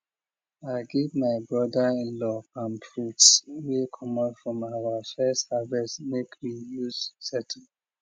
i give my brother inlaw palm fruits wey comot from ur first harvest make we use settle